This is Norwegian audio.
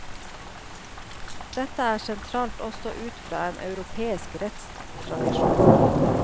Dette er sentralt også ut fra en europeisk rettstradisjon.